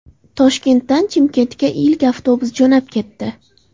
Toshkentdan Chimkentga ilk avtobus jo‘nab ketdi.